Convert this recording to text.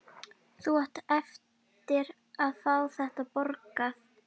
Þú átt eftir að fá þetta borgað!